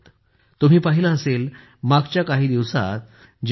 तुम्ही पाहिले असेल मागच्या काही दिवसांत जेव्हा टी